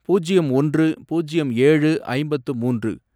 பூஜ்யம் ஒன்று, பூஜ்யம் ஏழு, ஐம்பத்து மூன்று